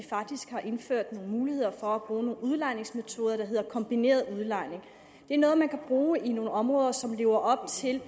faktisk indført muligheder for at bruge nogle udlejningsmetoder der hedder kombineret udlejning det er noget man kan bruge i nogle områder som lever op til